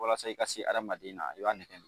Walasa i ka se adamaden ma i b'a nɛgɛ